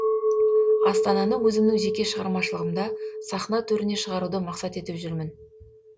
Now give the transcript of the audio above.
астананы өзімнің жеке шығармашылығымда сахна төріне шығаруды мақсат етіп жүрмін